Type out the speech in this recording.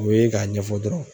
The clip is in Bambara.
U ye k'a ɲɛfɔ dɔrɔn.